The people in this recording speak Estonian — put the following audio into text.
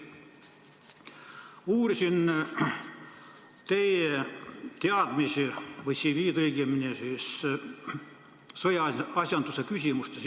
Ma uurisin teie CV-d, õigemini teie teadmisi sõjaasjanduse küsimustes.